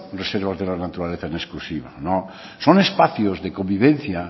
reservas de la naturaleza en exclusiva no son espacios de convivencia